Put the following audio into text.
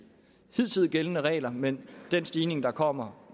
hidtil gældende regler men den stigning der kommer